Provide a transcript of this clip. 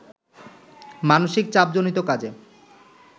মানসিক চাপজনিত কাজে